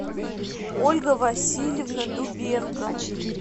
ольга васильевна дубенко